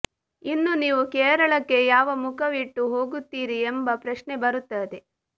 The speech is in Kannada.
ಇನ್ನು ನೀವು ಕೇರಳಕ್ಕೆ ಯಾವ ಮುಖವಿಟ್ಟು ಹೋಗುತ್ತೀರಿ ಎಂಬ ಪ್ರಶ್ನೆ ಬರುತ್ತದೆ